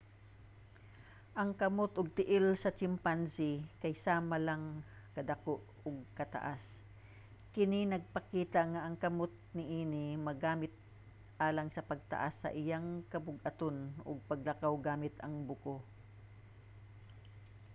ang kamot ug tiil sa chimpanzee kay sama ang kadako ug kataas. kini nagpakita nga ang kamot niini magamit alang sa pagpas-an sa iyang kabug-aton sa paglakaw gamit sa buko